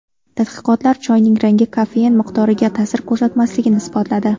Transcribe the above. Tadqiqotlar choyning rangi kofein miqdoriga ta’sir ko‘rsatmasligini isbotladi.